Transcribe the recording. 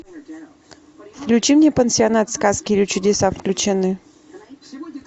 включи мне пансионат сказки или чудеса включены